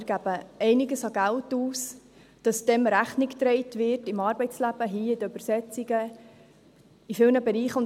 Wir geben einiges an Geld aus, damit dem im Arbeitsleben Rechnung getragen wird, hier mit den Übersetzungen, in vielen Bereichen.